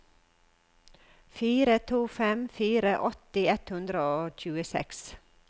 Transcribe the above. fire to fem fire åtti ett hundre og tjueseks